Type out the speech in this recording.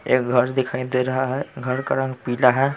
एक घर दिखाई दे रहा है घर का रंग पीला है।